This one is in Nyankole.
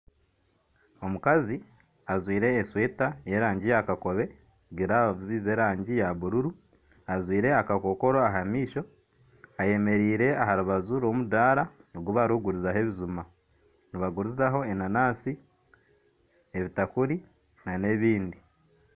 Omukazi ajwire eshweta y'erangi ya kakobe, giravuzi z'erangi ya bururu ajwire akakokoro aha maisho, ayemereire aha rubaju rw'omudara ogubarikugirizaho ebijuma, nibagurizaho enanasi, ebitakuri na n'ebindi.